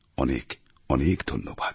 অনেক অনেক ধন্যবাদ